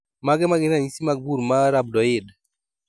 Mage magin ranyisi mag bur ma Rhabdoid